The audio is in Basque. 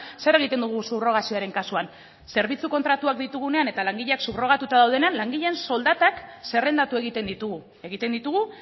zer egiten dugu subrogazioaren kasuan zerbitzu kontratuak ditugunean eta langileak subrogatuta daudenean langileen soldatak zerrendatu egiten ditugu egiten ditugu